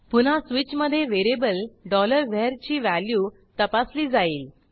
पुन्हा स्वीचमधे variable var ची व्हॅल्यू तपासली जाईल